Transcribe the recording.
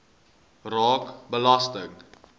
raak belasting